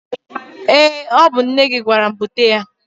Ee! Ọ bụ nne gị gwara m bute ya.